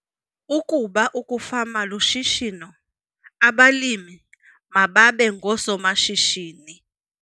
Ukuba ukufama lushishino, abalimi mababe ngoosomashishini